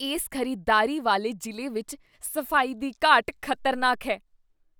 ਇਸ ਖ਼ਰੀਦਦਾਰੀ ਵਾਲੇ ਜ਼ਿਲ੍ਹੇ ਵਿੱਚ ਸਫ਼ਾਈ ਦੀ ਘਾਟ ਖ਼ਤਰਨਾਕ ਹੈ।